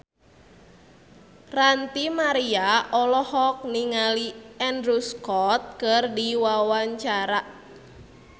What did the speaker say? Ranty Maria olohok ningali Andrew Scott keur diwawancara